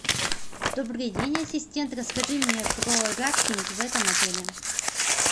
добрый день ассистент расскажи мне про рафтинг в этом отеле